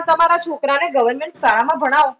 તમારા છોકરાને government શાળામાં ભણાવો.